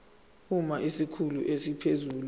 uma isikhulu esiphezulu